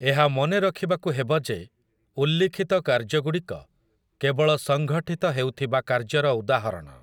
ଏହା ମନେ ରଖିବାକୁ ହେବ ଯେ ଉଲ୍ଲିଖିତ କାର୍ଯ୍ୟଗୁଡ଼ିକ କେବଳ ସଂଘଠିତ ହେଉଥିବା କାର୍ଯ୍ୟର ଉଦାହରଣ ।